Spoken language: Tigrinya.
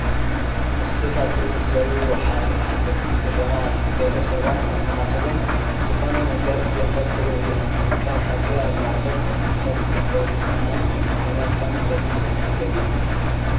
ምስልታት ዘወዉዎ ሓሪ ማዕተብ ይርአ ኣሎ፡፡ ገለ ሰባት ኣብ ማዕተቦም ዝኾነ ነገር የንጠልጥሉ እዮም፡፡ ከም ሓቂ ኣብ ማዕተብ ክንጥልጠል ዝግብኦ ግን ናይ እምነትካ መግለፂ ዝኾነ ነገር እዩ፡፡